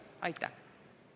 Aitäh!